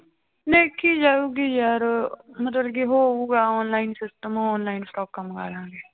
ਦੇਖੀ ਜਾਊਗੀ ਯਾਰ ਮਤਲਬ ਕਿ ਉਹ ਹੋਊਗਾ online system online ਸਟਾਕਾਂ ਮੰਗਵਾ ਲਵਾਂਗੇ